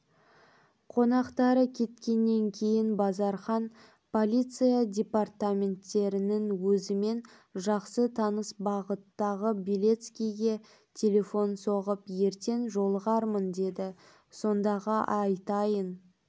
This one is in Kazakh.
қонақтары кеткеннен кейін базархан полиция департаментінің өзімен жақсы таныс бастығы белецкийге телефон соғып ертең жолығармын деді сондағы айтайын